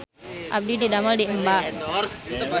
Abdi didamel di Emba